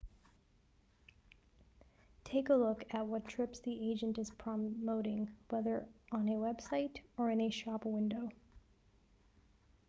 take a look at what trips the agent is promoting whether on a website or in a shop window